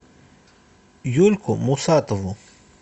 юльку мусатову